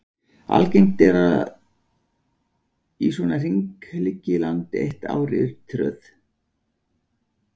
Algengt er að í svona hring liggi land eitt ár í tröð.